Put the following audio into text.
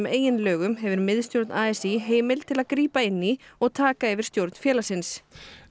eigin lögum hefur miðstjórn a s í heimild til að grípa inn í og taka yfir stjórn félagsins